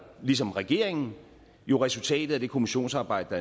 ligesom regeringen jo resultatet af det kommissionsarbejde